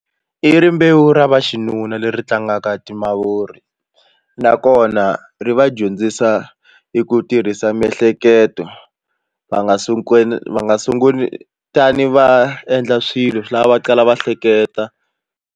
I rimbewu ra vaxinuna leri tlangaka timavuri nakona ri va dyondzisa hi ku tirhisa miehleketo va nga va nga sunguli tani va endla swilo swi lava va kala va hleketa.